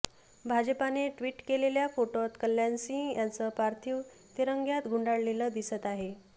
भाजपाने ट्वीट केलेल्या फोटोत कल्याण सिंह यांचं पार्थिव तिरंग्यात गुंडाळलेला दिसत आहे